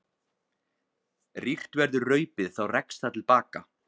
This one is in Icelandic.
Rýrt verður raupið þá rekst það til baka.